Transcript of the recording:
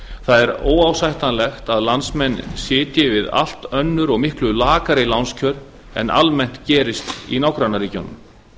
það er óásættanlegt að landsmenn sitji við allt önnur og miklu lakari lánskjör en almennt gerist í nágrannaríkjunum